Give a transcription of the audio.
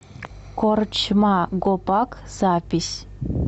корчма гопак запись